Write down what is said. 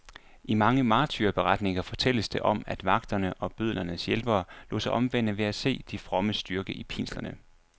I mange martyrberetninger fortælles der om, at vagterne og bødlernes hjælpere lod sig omvende ved at se de frommes styrke i pinslerne.